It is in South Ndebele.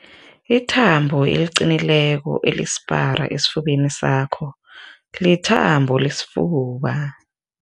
Ithambo eliqinileko elisipara esifubeni sakho lithambo lesifuba.